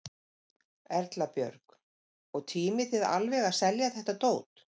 Erla Björg: Og tímið þið alveg að selja þetta dót?